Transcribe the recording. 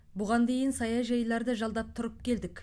бұған дейін саяжайларды жалдап тұрып келдік